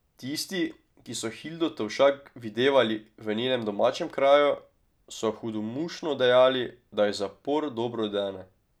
Tisti, ki so Hildo Tovšak videvali v njenem domačem kraju, so hudomušno dejali, da ji zapor dobro dene.